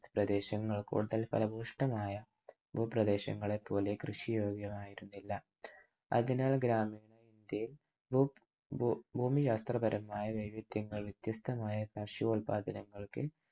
പ്രദേശങ്ങൾ കൊണ്ട് ഫലഭൂഷ്ടമായ ഭൂപ്രദേശങ്ങളെപ്പോലെ കൃഷിയോഗ്യമായിരുന്നില്ല. അതിനാൽ ഗ്രാമത്തെ ഭൂമിശാസ്ത്രപരമായ വൈവിധ്യങ്ങൾ വ്യത്യസ്തമായ ഭക്ഷ്യോല്പാദനങ്ങൾക്ക്